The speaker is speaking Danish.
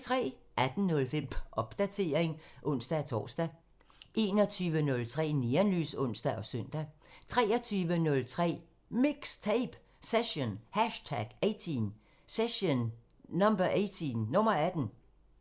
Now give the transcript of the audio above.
18:05: Popdatering (ons-tor) 21:03: Neonlys (ons og søn) 23:03: MIXTAPE – Session #18